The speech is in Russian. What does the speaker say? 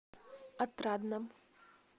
отрадном